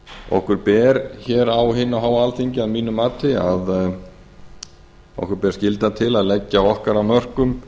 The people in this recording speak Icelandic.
okkur ber hér á hinu háa alþingi að mínu mati skylda til að leggja okkar af mörkum